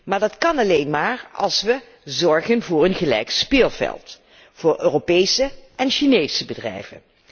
Maar dat kan alleen maar als we zorgen voor een gelijk speelveld voor Europese en Chinese bedrijven.